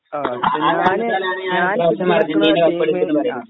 അതുകൊണ്ടാണ് ഞാന് ഇപ്രാവശ്യം അർജന്റീന കപ്പടിക്കുമെന്നു പറയുന്നത്.